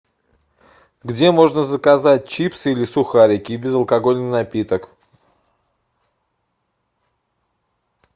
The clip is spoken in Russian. где можно заказать чипсы или сухарики и безалкогольный напиток